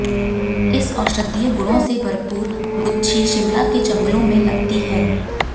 इस औषधीय गुणों से भरपूर गुच्छी शिमला के जंगलों में लगती है